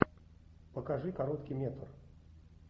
покажи короткий метр